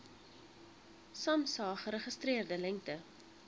samsa geregistreerde lengte